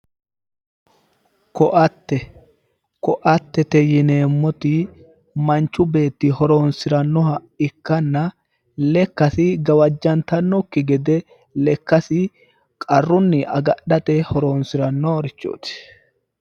koatte koattete yineemmoti manchu beetti horonsirannoha ikkanna lekkasi gawajjantannokki gede lekkasi qarrunni agadhate horonsirannorichooti.